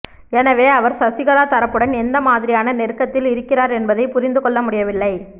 எனவே அவர் சசிகலா தரப்புடன் எந்த மாதிரியான நெருக்கத்தில் இருக்கிறார் என்பதைப் புரிந்து கொள்ள முடியவில்லை